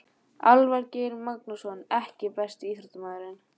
Elvar Geir Magnússon EKKI besti íþróttafréttamaðurinn?